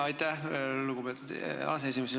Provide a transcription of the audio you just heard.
Aitäh, lugupeetud aseesimees!